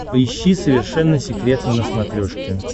поищи совершенно секретно на смотрешке